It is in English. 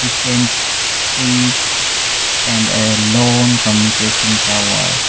tent trees and a long communication tower.